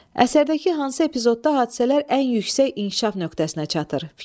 Əsərdəki hansı epizodda hadisələr ən yüksək inkişaf nöqtəsinə çatır?